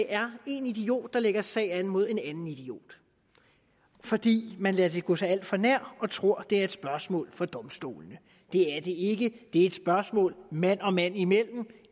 er én idiot der lægger sag an mod en anden idiot fordi man lader det gå sig alt for nær og tror at et spørgsmål for domstolene det er det ikke det er et spørgsmål mand og mand imellem